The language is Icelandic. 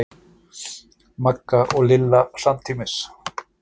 Magga og Lilla samtímis.